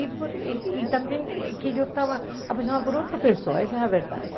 E também que eu estava apaixonada por outra pessoa, essa é a verdade.